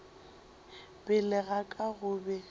pele ga ka go be